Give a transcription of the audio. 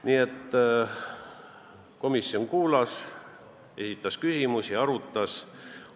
Nii et komisjon kuulas, esitas küsimusi, arutas.